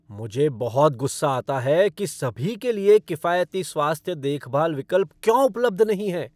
मुझे बहुत गुस्सा आता है कि सभी के लिए किफायती स्वास्थ्य देखभाल विकल्प क्यों उपलब्ध नहीं हैं।